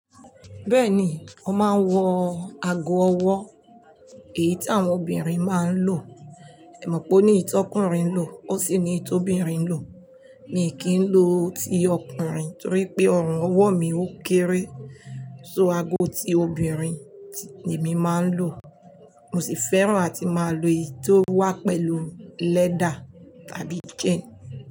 Bẹ́ẹ̀ni, mó máa ń wọ ago ọwọ́ èyí tí àwọn obìnrin máa ń lò. Ẹ̀ mọ̀ pé ó ní iyi ti ọkùnrin lò ó sì ní iyi ti obìnrin lò. Mi kì í lo ti ọkùnrin torí pé ọrùn ọwọ́ mi ó kéré, so ago ti obìnrin ni èmi máa ń lò. Mo sì fẹ́ràn àti máa lo èyí tó wà pẹ̀lú leather tàbí chain.